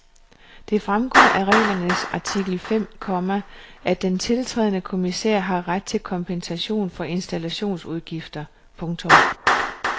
Det fremgår af reglernes artikel fem , komma at den tiltrædende kommissær har ret til kompensation for installationsudgifter. punktum